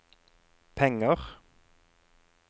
penger